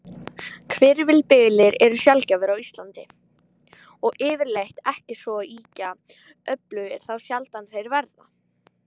Hvirfilbyljir eru sjaldgæfir á Íslandi, og yfirleitt ekki svo ýkja öflugir þá sjaldan þeir verða.